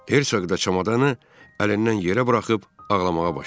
Hersoq da çamadanı əlindən yerə buraxıb ağlamağa başladı.